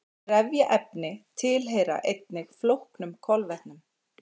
trefjaefni tilheyra einnig flóknum kolvetnum